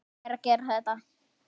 Ég er að gera þetta.